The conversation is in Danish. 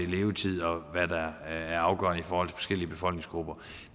levetid og hvad der er afgørende i forhold til forskellige befolkningsgrupper